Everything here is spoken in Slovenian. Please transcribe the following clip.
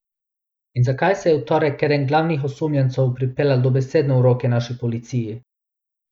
In zakaj se je v torek eden glavnih osumljencev pripeljal dobesedno v roke naši policiji?